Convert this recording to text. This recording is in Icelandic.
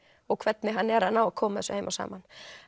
og hvernig hann er að ná að koma þessu heim og saman